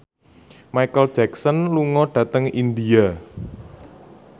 Micheal Jackson lunga dhateng India